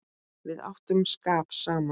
Við áttum skap saman.